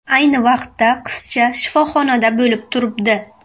Ayni vaqtda qizcha shifoxonada bo‘lib turibdi.